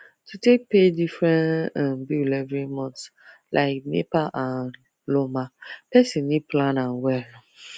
to take pay different um bill every month like nepa and lawma person need plan well